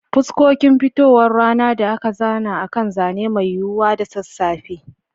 Fuskokin fitowar rana da aka zana akan zane mai yiwuwa da sassafe.